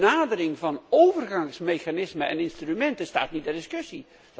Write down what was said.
De benadering van overgangsmechanismen en instrumenten staat niet ter discussie.